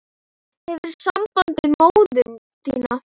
Hefurðu samband við móður þína?